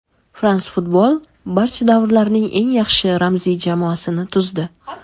"France Football" barcha davrlarning eng yaxshi ramziy jamoasini tuzdi.